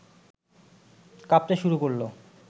কাঁপতে শুরু করল